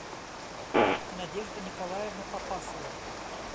надежда николаевна копасова